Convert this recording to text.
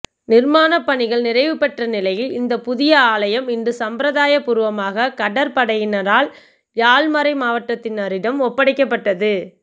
நிர்மானப்பணிகள் நிறைவுபெற்ற நிலையில் இந்த புதிய ஆலயம இன்று சம்பிரதாய பூர்வமாக கடற்படையினரால் யாழ் மறை மாவட்டத்தினரிடம் ஒப்படைக்கப்பட்டது